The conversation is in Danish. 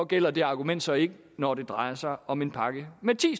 gælder det argument så ikke når det drejer sig om en pakke med ti